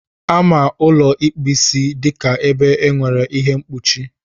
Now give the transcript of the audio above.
Amara ụlọ ịkpu Ịsị dịka ebe nwere ihe mkpuchi.